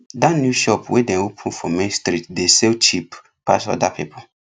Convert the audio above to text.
dat new shop wey dem open for main street dey sell cheap pass other people